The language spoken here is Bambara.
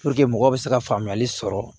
mɔgɔ bɛ se ka faamuyali sɔrɔ